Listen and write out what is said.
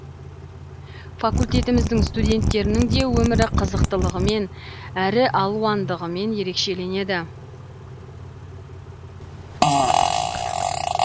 факультетіміздің студенттерінің де өмірі қызықтылығымен әрі алуандығымен ерекшеленеді